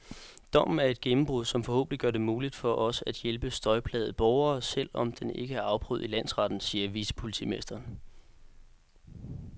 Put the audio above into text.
Dommen er et gennembrud, som forhåbentlig gør det muligt for os at hjælpe støjplagede borgere, selv om den ikke er afprøvet i landsretten, siger vicepolitimesteren.